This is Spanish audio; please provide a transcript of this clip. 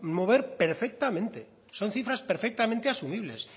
mover perfectamente son cifras perfectamente asumibles